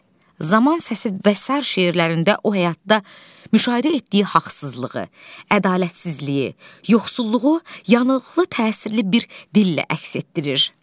Zaman Səsi və sair şeirlərində o həyatda müşahidə etdiyi haqsızlığı, ədalətsizliyi, yoxsulluğu yanıqlı təsirli bir dillə əks etdirir.